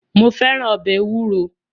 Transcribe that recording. Mo fẹ́ràn ọbẹ̀ ewúro.